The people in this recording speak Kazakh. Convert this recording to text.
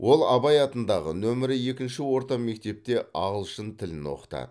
ол абай атындағы нөмірі екінші орта мектепте ағылшын тілін оқытады